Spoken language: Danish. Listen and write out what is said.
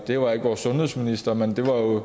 det var ikke vores sundhedsminister men det var jo